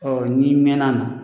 Ɔ n'i mɛɛn'a na